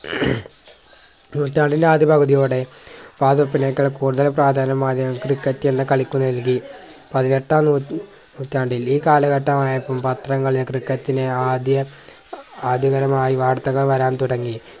നൂറ്റാണ്ടിന്റെ ആദ്യ പകുതിയോടെ വാതുവെപ്പിനേക്കാൾ കൂടുതൽ പ്രാധാന്യം മാധ്യമങ്ങൾ ക്രിക്കറ്റ് എന്ന കളിക്ക് നൽകി പതിനെട്ടാം നൂ നൂറ്റാണ്ടിൽ ഈ കാലഘട്ടമായപ്പോൾ പത്രങ്ങളിൽ ക്രിക്കറ്റിനെ ആദ്യ ആധിപരമായി വാർത്തകൾ വരാൻ തുടങ്ങി